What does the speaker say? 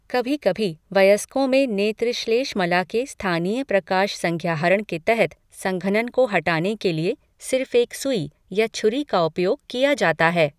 कभी कभी वयस्कों में नेत्र श्लेष्मला के स्थानीय प्रकाश संज्ञाहरण के तहत संघनन को हटाने के लिए सिर्फ एक सुई या छुरी का उपयोग किया जाता है।